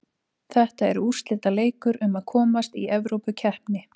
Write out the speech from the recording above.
Þetta er úrslitaleikur um að komast Evrópukeppni.